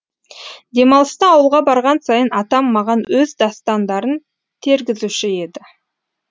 демалыста ауылға барған сайын атам маған өз дастандарын тергізуші еді